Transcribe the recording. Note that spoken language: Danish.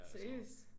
Seriøst?